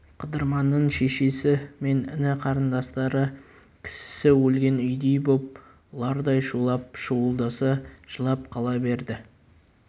қыдырманның шешесі мен іні-қарындастары кісісі өлген үйдей боп ұлардай шулап шуылдаса жылап қала берді